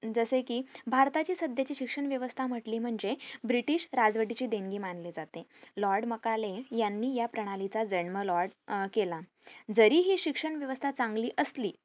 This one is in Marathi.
जसे कि भारताची सध्याची शिक्षण व्यवस्था म्हंटली म्हणजे ब्रिटिश राजवटीची देणगी मनाली जाते लॉर्ड मॅकाले यांनी या प्रणालीचा जेनम लॉर्ड अह केला जरी हि शिक्षण वेवस्था चांगली असली